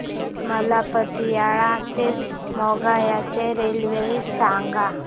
मला पतियाळा ते मोगा च्या रेल्वे सांगा